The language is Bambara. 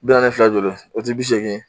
Bi naani fila ye joli ye? O te bi seegin ye?